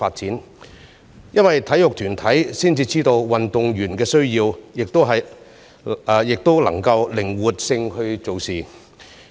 這是因為只有體育團體才知道運動員的需要，而且能夠靈活辦事。